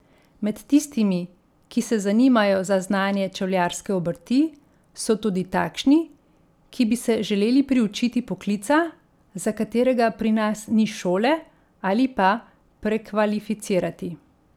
Med tistimi, ki se zanimajo za znanje čevljarske obrti, so tudi takšni, ki bi se želeli priučiti poklica, za katerega pri nas ni šole, ali pa prekvalificirati.